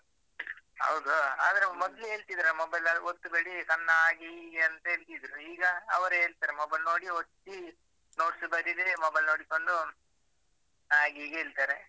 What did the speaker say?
ಹೌದು. ಆದ್ರೆ ಮೊದ್ಲು ಹೇಳ್ತಿದ್ರು mobile ಲೆಲ್ಲಾ ಒತ್ಬೇಡಿ ಕಣ್ಣ್ ಹಾಗೆ ಹೀಗೆ ಅಂತೇಲ್ತಿದ್ರು, ಈಗ ಅವರೇ ಹೇಳ್ತಾರೆ mobile ನೋಡಿ ಒತ್ತಿ , notes ಬರೀರಿ mobile ನೋಡಿಕೊಂಡು ಹಾಗೆ ಹೀಗೆ ಹೇಳ್ತಾರೆ.